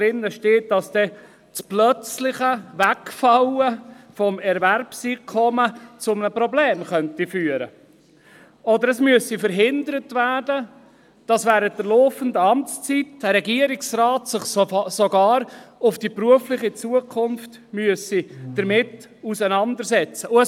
In dieser steht, dass das plötzliche Wegfallen des Erwerbseinkommens zu einem Problem führen könnte, es sei denn, es würde verhindert, dass sich ein Regierungsrat während der laufenden Amtszeit mit der beruflichen Zukunft auseinandersetzen müsse.